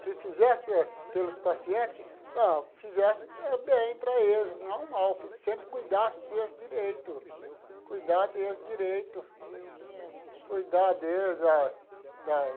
Que fizesse pelos pacientes, ah fizesse bem para eles, não mal, sempre cuidasse deles direito, cuidar deles direito. Legal. Cuidar deles da da,